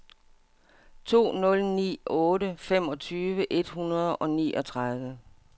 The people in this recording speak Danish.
to nul ni otte femogtyve et hundrede og niogtredive